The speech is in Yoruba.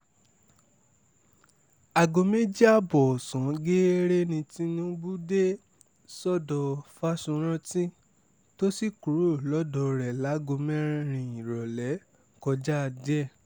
aago méjì ààbọ̀ ọ̀sán geere ni tinubu dé sọ́dọ̀ fáṣórántì tó sì kúrò lọ́dọ̀ rẹ̀ láago mẹ́rin ìrọ̀lẹ́ kọjá díẹ̀